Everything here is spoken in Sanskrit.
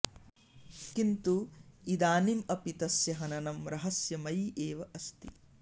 किन्तु इदानीम् अपि तस्य हननं रहस्यमयी एव अस्ति